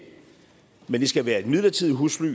men det skal være et midlertidigt husly